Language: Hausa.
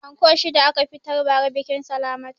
Anko shida a ka fitar ba ra biƙin salamatu